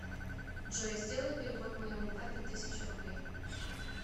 джой сделай перевод моему папе тысячу рублей